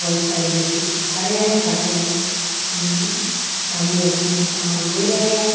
बहुत सारे व्यक्ति खड़े हैं खड़े हो अं सामने सामान ले रहे हैं।